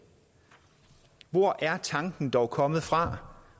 hvor er tanken dog kommet fra